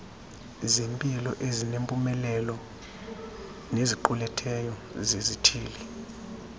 zempiloezinempumelelo neziquletheyo zezithili